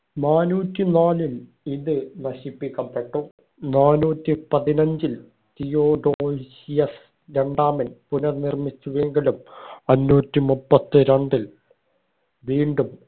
നാന്നൂറ്റി നാലിൽ ഇത് നശിപ്പിക്കപ്പെട്ടു നാന്നൂറ്റി പതിനഞ്ചിൽ തിയോഡോഷ്യസ് രണ്ടാമൻ പുനർനിർമ്മിച്ചുവെങ്കിലും അഞ്ഞൂറ്റി മുപ്പത്തിരണ്ടിൽ വീണ്ടും